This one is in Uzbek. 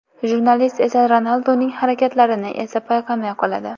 Jurnalist esa Ronalduning harakatlarini esa payqamay qoladi.